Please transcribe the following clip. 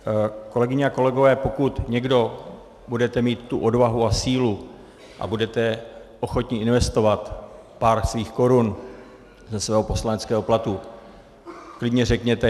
Kolegyně a kolegové, pokud někdo budete mít tu odvahu a sílu a budete ochotni investovat pár svých korun ze svého poslaneckého platu, klidně řekněte.